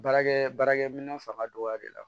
Baarakɛ baarakɛ minɛn fanga dɔgɔyali la